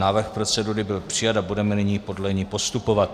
Návrh procedury byl přijat a budeme nyní podle něj postupovat.